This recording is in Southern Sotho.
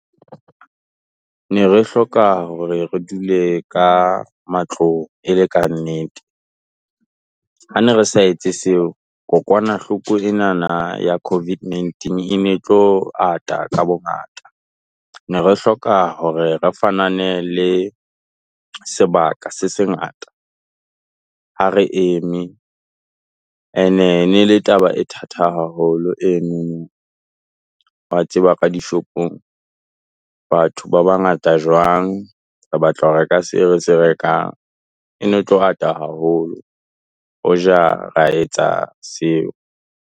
Ne re hloka hore re dule ka matlong e le ka nnete, ha ne re sa etse seo kokwanahloko enana ya COVID-19 e ne tlo ata ka bongata, ne re hloka hore re fanane le sebaka se se ngata. Ha re eme and ene le taba e thata haholo. E nngwe wa tseba ka dishopong, batho ba bangata jwang? Re batla ho reka se re se rekang. E ne tlo at a haholo, o ja, ra etsa seo.